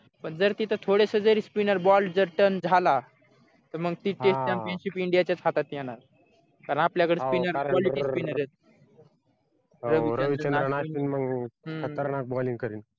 पण जर तिथं थोडसजरी spinner ball जर turn झाला तर मग तिथे championship india च्याच हातात येणार कारण आपल्याकडे spinner quality spinner